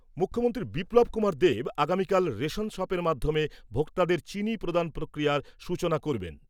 মুখ্যমন্ত্রী বিপ্লব কুমার দেব আগামীকাল রেশন দোকানের মাধ্যমে ভোক্তাদের চিনি প্রদান প্রক্রিয়ার সূচনা করবেন।